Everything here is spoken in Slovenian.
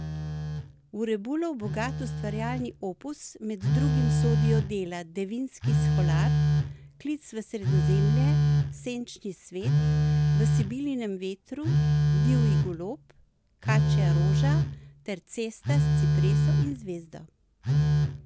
V Rebulov bogat ustvarjalni opus med drugim sodijo dela Devinski sholar, Klic v Sredozemlje, Senčni svet, V Sibilinem vetru, Divji golob, Kačja roža ter Cesta s cipreso in zvezdo.